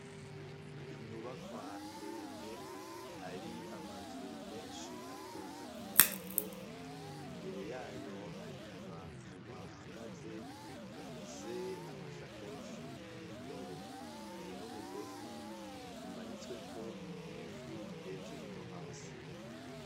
inyubakwa ndende hari amazu menshi atonze ku murongo imbere yayo hari abantu bahagaze bafise amashakoshi n'indobo hari n'umugozi umanitswe ko impuzu hejuru no hasi